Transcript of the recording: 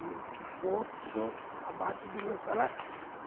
E o que for, o senhor abate do meu salário.